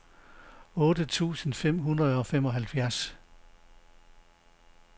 otte tusind fem hundrede og femoghalvfjerds